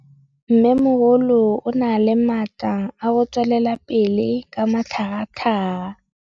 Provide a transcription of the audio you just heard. Mmêmogolo o na le matla a go tswelela pele ka matlhagatlhaga.